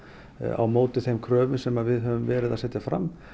á móti þeim kröfum sem við höfum verið að setja fram